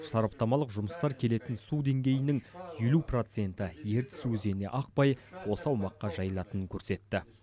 сараптамалық жұмыстар келетін су деңгейінің елу проценті ертіс өзеніне ақпай осы аумаққа жайылатынын көрсетті